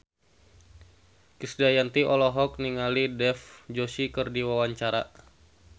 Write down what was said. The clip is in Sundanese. Krisdayanti olohok ningali Dev Joshi keur diwawancara